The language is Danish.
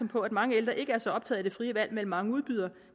på at mange ældre ikke er så optaget af det frie valg mellem mange udbydere